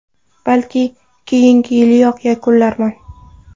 Balki, keyingi yiliyoq yakunlarman.